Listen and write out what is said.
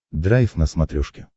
драйв на смотрешке